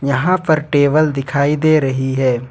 यहां पर टेबल दिखाई दे रही है।